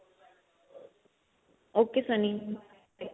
ok Sunny by